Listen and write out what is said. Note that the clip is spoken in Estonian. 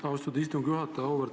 Austatud istungi juhataja!